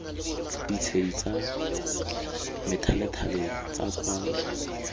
ditshedi tsa methalethale tsa kwalo